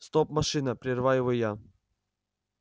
стоп машина прерываю его я